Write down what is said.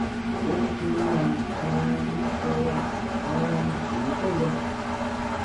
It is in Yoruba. ó ní kí wọ́n máa um sọ um òótọ́ lọ